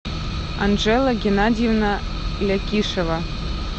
анжела геннадьевна лякишева